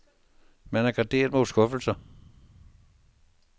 Man er garderet mod skuffelser.